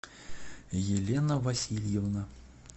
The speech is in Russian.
елена васильевна